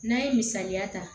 N'an ye misaliya ta